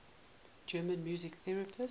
german music theorists